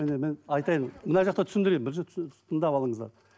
міне айтайын мына жақта түсіндірейін бірінші тыңдап алыңыздар